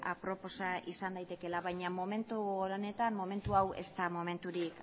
aproposa izan daitekeela baina momentu honetan momentu hau ez da momenturik